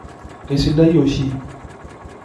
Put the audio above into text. Kesidai oshi.